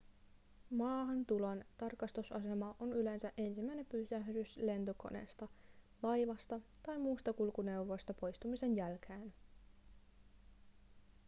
maahantulon tarkastusasema on yleensä ensimmäinen pysähdys lentokoneesta laivasta tai muusta kulkuneuvosta poistumisen jälkeen